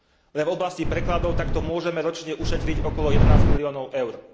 Len v oblasti prekladov takto môžeme ročne ušetriť okolo jedenásť miliónov EUR.